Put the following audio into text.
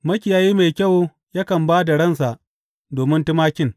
Makiyayi mai kyau yakan ba da ransa domin tumakin.